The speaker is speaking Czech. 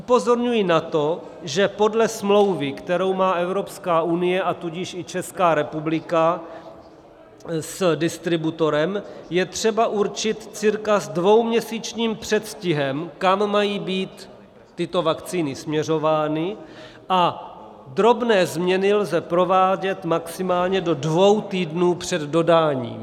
Upozorňuji na to, že podle smlouvy, kterou má Evropská unie, a tudíž i Česká republika s distributorem, je třeba určit cca s dvouměsíčním předstihem, kam mají být tyto vakcíny směřovány, a drobné změny lze provádět maximálně do dvou týdnů před dodáním.